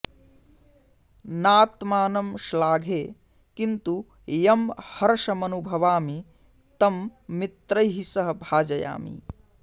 नात्मानं श्लाघे किन्तु यं हर्षमनुभवामि तं मित्रैः सह भाजयामि